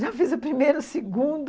Já fiz o primeiro, o segundo,